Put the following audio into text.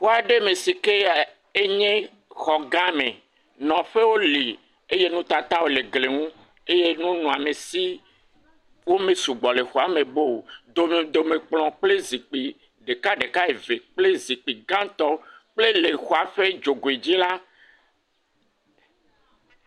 Xɔ aɖe me si ke ɛɛ enye xɔgã me. Nɔƒewo li eye nutatawo le gli ŋu. Eye nunɔamesiwo mesugbɔ le xɔa me boo o. Domedomekplɔ̃ kple zikpi ɖekaɖeka eve kple zikpii gãtɔ kple le xɔa ƒe dzogoe dzi la.